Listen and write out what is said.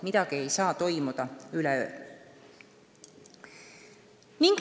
Midagi ei saa toimuda üleöö.